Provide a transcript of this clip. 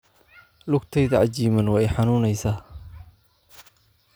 Lugtayda cajiimaan way i xanuunaysaa.